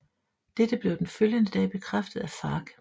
Dette blev den følgende dag bekræftet af FARC